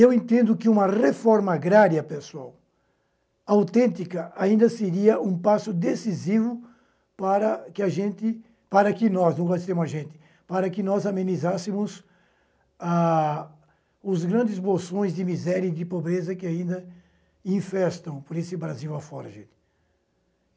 Eu entendo que uma reforma agrária pessoal autêntica ainda seria um passo decisivo para que a gente, para que nós, não vou dizer a gente, para que nós amenizássemos ah os grandes bolsões de miséria e de pobreza que ainda infestam por esse Brasil afora gente.